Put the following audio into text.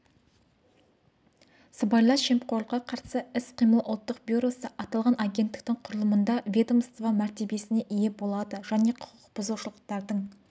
сыбайлас жемқорлыққа қарсы іс-қимыл ұлттық бюросы аталған агенттіктің құрылымында ведомство мәртебесіне ие болады және құқық бұзушылықтардың